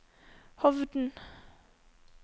Hovden